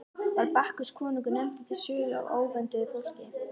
Var Bakkus konungur nefndur til sögu af óvönduðu fólki.